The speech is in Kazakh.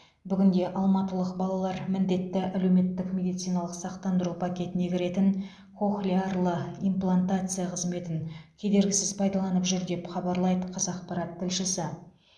бүгінде алматылық балалар міндетті әлеуметтік медициналық сақтандыру пакетіне кіретін кохлеарлы имплантация қызметін кедергісіз пайдаланып жүр деп хабарлайды қазақпарат тілшісі